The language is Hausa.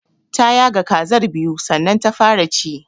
Ta yaga kazar biyu sannan ta fara ci.